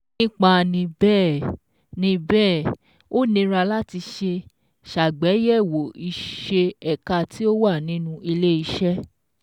Nípa ni bẹ́ẹ̀, ni bẹ́ẹ̀, ó nira láti ṣe ṣàgbéyẹ̀wò ìṣe ẹ̀ka tí ó wà nínú ilé iṣẹ́